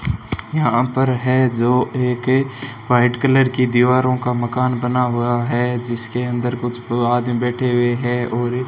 यहां पर है जो एक व्हाइट कलर की दीवारों का मकान बना हुआ है जिसके अंदर कुछ आदमी बैठे हुए हैं और--